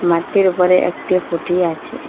মাঠটির উপরে একটি খুঁটি আছে।